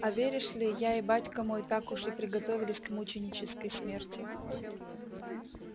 а веришь ли я и батька мой так уж и приготовились к мученической смерти